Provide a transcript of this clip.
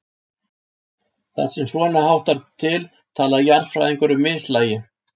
Þar sem svona háttar til tala jarðfræðingar um mislægi.